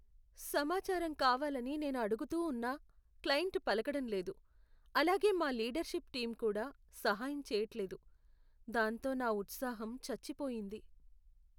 సమాచారం కావాలని నేను అడుగుతూ ఉన్నా క్లయింట్ పలకడం లేదు, అలాగే మా లీడర్షిప్ టీం కూడా సహాయం చేయట్లేదు, దాంతో నా ఉత్సాహం చచ్చిపోయింది.